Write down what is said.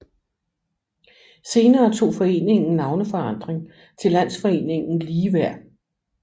Senere tog foreningen navneforandring til Landsforeningen Ligeværd